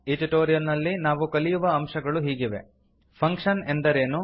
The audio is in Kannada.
ಈ ಟ್ಯುಟೋರಿಯಲ್ ನಲ್ಲಿ ನಾವು ಕಲಿಯುವ ಅಂಶಗಳು ಹೀಗಿವೆ ಫಂಕ್ಷನ್ ಎಂದರೇನು